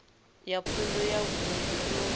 ya pfunzo ya vunḓu yo